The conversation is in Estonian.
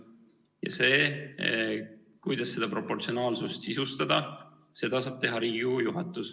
Ja seda, kuidas seda proportsionaalsust sisustada, saab otsustada Riigikogu juhatus.